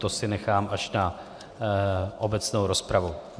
To si nechám až na obecnou rozpravu.